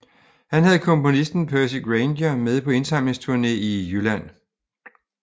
Han havde komponisten Percy Grainger med på indsamlingsture i Jylland